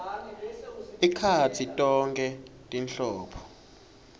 ekhatsi tonkhe tinhlobo